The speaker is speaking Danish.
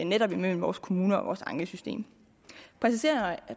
netop imellem vores kommuner og vores ankesystem